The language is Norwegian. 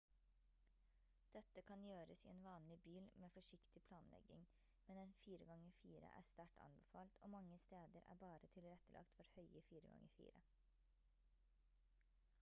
dette kan gjøres i en vanlig bil med forsiktig planlegging men en 4x4 er sterkt anbefalt og mange steder er bare tilrettelagt for høye 4x4